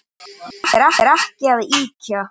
Ég er ekki að ýkja.